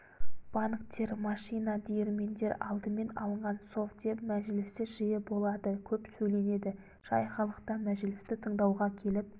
банктер машина диірмендер алдымен алынған совдеп мәжілісі жиі болады көп сөйленеді жай халықта мәжілісті тыңдауға келіп